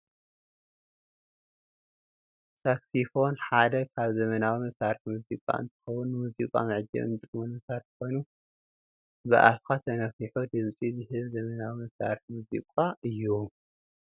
ሳክስፎን ሓደ ካብ ዘመናዊ መሳሪሒ ሙዚቃ እንትከውን ንሙዚቃ መዓጀቢ እንጥቀመሉ መሳርሒ ኮይኑ ብኣፍካ ተነፊሑ ድምፂ ዝህብ ዘመናዊ መሳሪሒ ሙዚቃ እዩ።